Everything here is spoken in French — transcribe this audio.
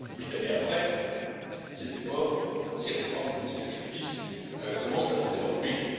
Huit années après, ces efforts, ces réformes, ces sacrifices commencent à porter leurs fruits.